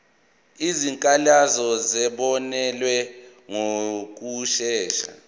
izikhalazo zizobonelelwa ngokushesha